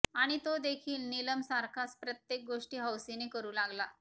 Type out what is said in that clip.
आणि तो देखील नीलम सारखाच प्रत्येक गोष्टी हौसेने करू लागला